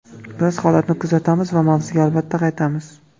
Biz holatni kuzatamiz va mavzuga albatta qaytamiz.